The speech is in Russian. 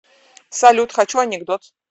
салют хочу анекдот